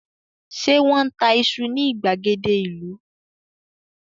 Ṣé wọ́n ń ta iṣu ní ìgbàgede ìlú?